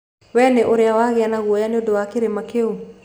Wee nĩ ũrĩ wagĩa na guoya nĩ ũndũ wa kĩrĩma kĩu?